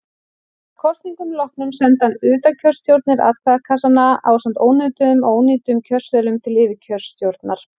Að kosningum loknum senda undirkjörstjórnir atkvæðakassana ásamt ónotuðum og ónýtum kjörseðlum til yfirkjörstjórnar.